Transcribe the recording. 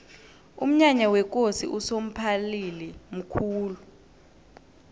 umnyanya wekosi usomphalili mkhulu